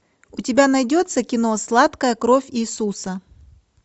у тебя найдется кино сладкая кровь иисуса